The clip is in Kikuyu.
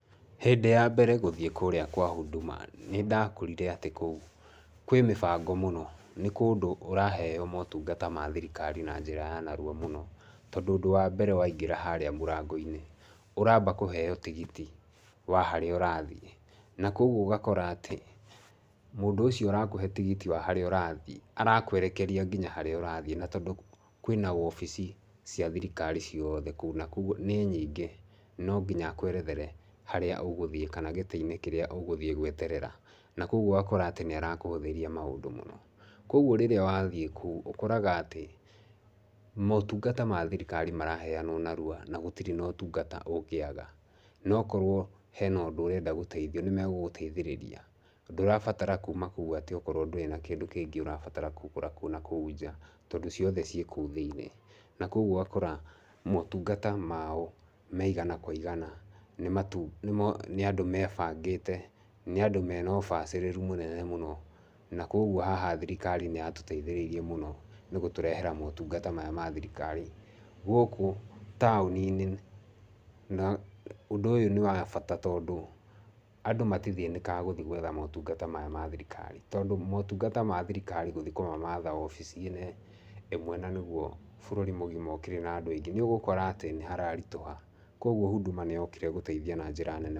Hĩndĩ ya mbere gũthiĩ kũrĩa kwa Huduma, nĩ ndakorire atĩ kũndũ kũu kwĩ mĩbango mũno. Nĩ kũndũ ũraheo motungata ma thirikari na njĩra ya narua mũno. Tondũ ũndũ wa mbere waingĩra harĩa mũrango-inĩ, ũramba kũheo tigiti wa harĩa ũrathiĩ. Na kwoguo ũgakora atĩ ,mũndũ ũcio ũrakũhe tigiti wa harĩa ũrathiĩ arakwerekeria nginya harĩa ũrathiĩ. Na tondũ kwĩna wabici cia thirikari cuiothe kũu na kwoguo nĩ nyingĩ, no nginya akwerethere harĩa ũgũthiĩ kana gĩtĩ-inĩ kĩrĩa ũgũthiĩ gweterera. Na kwoguo ũgakora atĩ nĩ arakũhũthĩria maũndũ mũno. Kwoguo rĩrĩa wathiĩ kũu ũkoraga atĩ motungata ma thirikari maraheanwo narua na gũtirĩ ũtungata ũngĩaga. Na okorwo hena ũndũ ũrenda gũteithio nĩmegũgũteithĩrĩria, ndũrabatara kuma kũu atĩ okorwo ndũrĩ na kĩndũ kĩngĩ ũrabatara kũgũra na kũu nja, tondũ ciothe ciĩ kũu thĩinĩ. Na kwoguo ũgakora motungata mao me igana kwa igana. Nĩ andũ mebangĩte, nĩ andũ mena ũbacĩrĩru mũnene mũno. Na kwoguo haha thirikari nĩ yatũteithĩrĩirie mũno nĩ gũtũrehera motungata maya ma thirikari gũkũ taũni-inĩ. Na ũndũ ũyũ nĩ wa bata tondũ andũ matithĩnĩkaga gũthiĩ gwetha motungata maya ma thirikari tondũ motungata ma thirikari gũthiĩ kũmamatha wabici-inĩ ĩmwe na nĩguo bũrũri mũgima ũkĩrĩ na andũ aingĩ nĩ ũgũkora atĩ nĩ hararitũha. Kwoguo Huduma nĩ yokire gũteithia na njĩra nene...